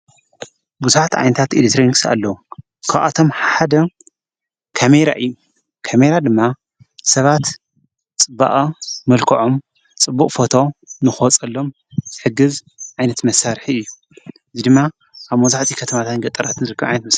ብዙኃት ዓይንታት ኤሌክትሮንክስ ኣሎ ካብኣቶም ሓደካሜራ ራእዩ ከሜራ ድማ ሰባት ጽበኣ ምልክዖም ጽቡእ ፎቶ ንኾጸሎም ሕግዝ ዓይነት መሣርሕ እዩ ይ ድማ ኣብ መብዛሕትኡ ኸተማታትን ገጠራት ንርክኣይት ም::